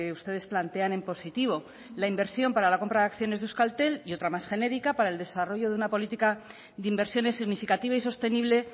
ustedes plantean en positivo la inversión para la compra de acciones de euskaltel y otra más genérica para el desarrollo de una política de inversiones significativa y sostenible